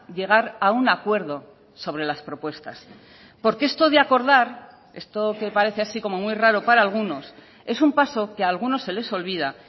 llegar a un acuerdo sobre las propuestas porque esto de acordar esto que parece así como muy raro para algunos es un paso que algunos se les olvida